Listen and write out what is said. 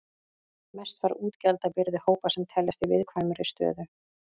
Mest var útgjaldabyrði hópa sem teljast í viðkvæmri stöðu.